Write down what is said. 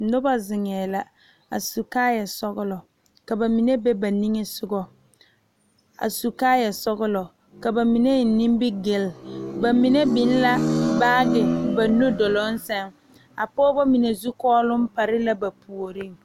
Noba zeŋe la a su kaaya sɔglɔ ka bamine be ba niŋe soga a su kaaya sɔglɔ ka bamine eŋ nimigele mine biŋ la baagi ba nudoluŋ saŋ pɔgeba mine zukɔlɔ pare la ba puori.